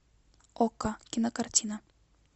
окко кинокартина